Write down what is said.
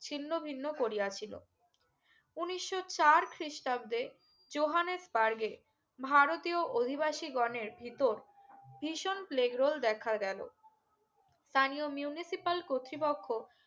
ছিন্ন ভিন্ন করিয়া ছিলো উনিশশো চার খ্রিস্টাব্দে চোহানেয বারগে ভারতীয় অধিবাসী গনের ভিতর ভিশন প্লেগ রোল দেখা গেলো তানিয়ো Municipal কর্তৃপক্ষ